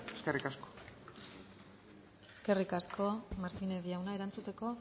eskerrik asko eskerrik asko martínez jauna erantzuteko